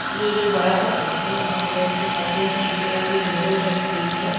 ये एक बड़ा सा पोस्टर लगा हुआ है जिसके पास में शीशे वाली विंडो लगी हुई है।